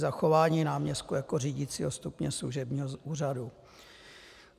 Zachování náměstků jako řídicího stupně služebního úřadu.